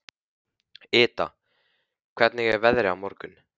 Ida, hvernig er veðrið á morgun?